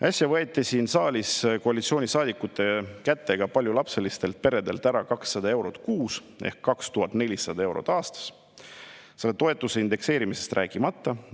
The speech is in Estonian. Äsja võeti siin saalis koalitsioonisaadikute kätega paljulapselistelt peredelt ära 200 eurot kuus ehk 2400 eurot aastas, selle toetuse indekseerimisest rääkimata.